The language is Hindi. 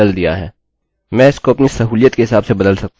चलिए इसे लोडload करें और रिफ्रेश करें